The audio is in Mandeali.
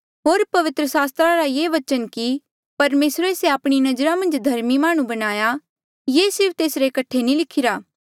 होर पवित्र सास्त्रा रा ये बचन कि परमेसरे से आपणी नजरा मन्झ धर्मी माह्णुं बणाया ये सिर्फ तेसरे कठे नी लिखिरा